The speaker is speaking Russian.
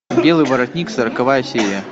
белый воротник сороковая серия